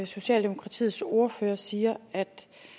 socialdemokratiets ordfører siger at